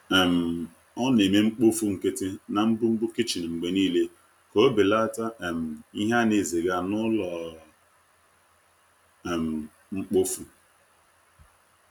um O na-eme mkpofu nkịtị na mbumbu kichin mgbe niile ka o belata um ihe a na-eziga n’ụlọ um mkpofu.